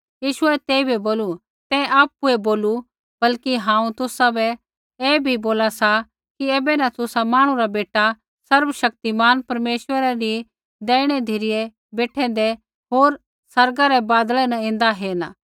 यीशुऐ तेइबै बोलू तैं आपुऐ बोलू बल्कि हांऊँ तुसाबै ऐ बी बोला सा कि ऐबै न तुसा मांहणु रा बेटा सर्वशक्तिमान परमेश्वरै री दैहिणी धिरै बेठैंदै होर आसमानै रै बादलै न ऐन्दै हेरना